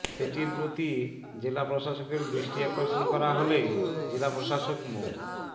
সেটির প্রতি জেলা প্রশাসকের দৃষ্টি আকর্ষণ করা হলে জেলা প্রশাসক মো